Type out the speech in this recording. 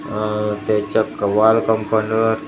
आह त्याच्या वॉल कम्पाऊंडवर अ--